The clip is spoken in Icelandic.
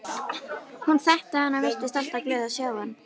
Hún þekkti hann og virtist alltaf glöð að sjá hann.